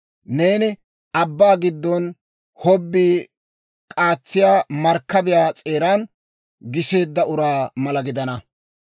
Neeni abbaa giddon hobbii k'aatsiyaa markkabiyaa s'eeran giseedda uraa mala gidana.